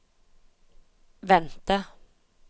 vente